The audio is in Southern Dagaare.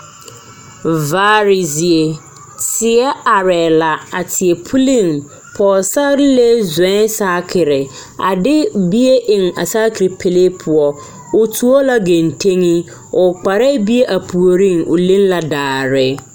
Vaare zie teɛ arɛɛ la a teɛ puliŋ pɔgesarelee zɔɔɛŋ saakere a de bie eŋ a saakere pɛlee poɔ o tuo la genteŋi o kparɛɛ bie a puoriŋ o leŋ la daare.